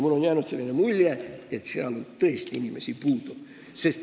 Mulle on jäänud selline mulje, et seal on tõesti inimesi puudu.